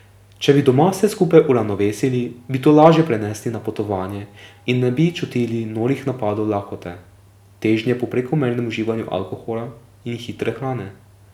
Če bi doma vse skupaj uravnovesili, bi to lažje prenesli na potovanje in ne bi čutili norih napadov lakote, težnje po prekomernem uživanju alkohola in hitre hrane.